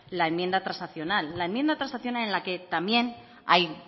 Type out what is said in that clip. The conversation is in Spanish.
la enmienda transaccional la enmienda transaccional en la que también hay